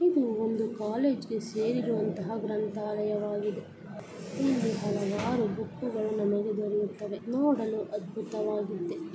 ಇದು ಒಂದು ಕಾಲೇಜ್ ಗೆ ಸೇರಿರುವಂತಹ ಗ್ರಂಥಾಲಯವಾಗಿದೆ ಇಲ್ಲಿ ಹಲವಾರು ಬುಕ್ಕುಗುಳು ನಮಗೆ ದೊರೆಯುತ್ತವೆ.